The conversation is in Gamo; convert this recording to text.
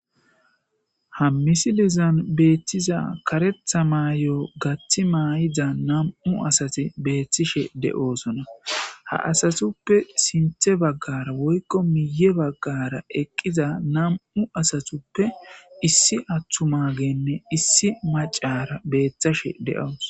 Ha misilezan karetha mayo gathi mayida nam'u asati beetishe de'osona, ha asatuppe sinthe bagara woyko miye bagara eqiza nam'u asatuppe issi atumageyinne issi macara beetashe de'awusi.